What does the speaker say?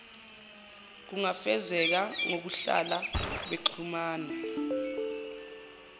kungafezeka ngokuhlala bexhumana